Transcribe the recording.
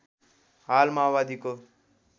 हाल माओवादीको